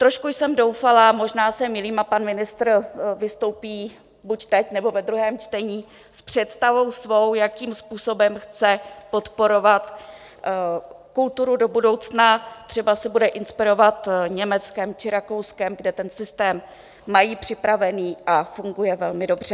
Trošku jsem doufala, možná se mýlím a pan ministr vystoupí buď teď, nebo ve druhém čtení, s představou svou, jakým způsobem chce podporovat kulturu do budoucna, třeba se bude inspirovat Německem či Rakouskem, kde ten systém mají připravený a funguje velmi dobře.